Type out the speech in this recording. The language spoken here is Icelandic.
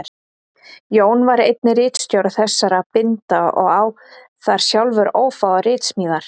Jón var einnig ritstjóri þessara binda og á þar sjálfur ófáar ritsmíðar.